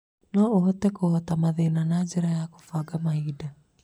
No ũhote kũhota mathĩna na njĩra ya kũbanga mahinda.